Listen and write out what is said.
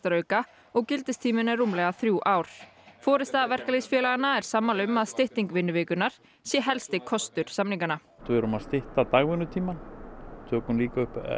hagvaxtarauka og gildistíminn er rúmlega þrjú ár forysta verkalýðsfélaganna er sammála um að stytting vinnuvikunnar sé helsti kostur samninganna við erum að stytta dagvinnutíma og tökum upp